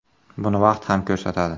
Buni vaqt ham ko‘rsatadi.